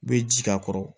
U bɛ ji k'a kɔrɔ